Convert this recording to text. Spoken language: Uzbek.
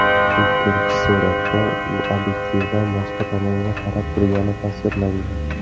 Ikkinchi suratda u obyektivdan boshqa tomonga qarab turgani tasvirlangan.